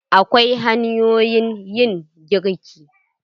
Akwai hanyoyin yin girki.